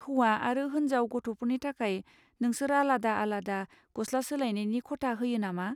हौवा आरो होनजाव गथ'फोरनि थाखाय नोंसोर आलादा आलादा गस्ला सोलायनायनि खथा होयो नामा?